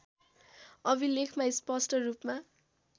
अभिलेखमा स्पष्ट रूपमा